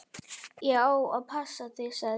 Ég á að passa þig, sagði